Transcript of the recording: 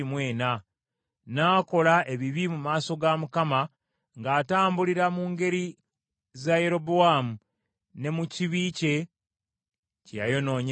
N’akola ebibi mu maaso ga Mukama , ng’atambulira mu ngeri za Yerobowaamu, ne mu kibi kye, kye yayonoonyesa Isirayiri.